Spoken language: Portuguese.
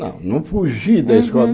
Não, não fugi da escola. Uhum